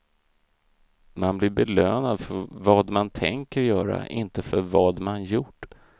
Man blir belönad för vad man tänker göra, inte för vad man gjort.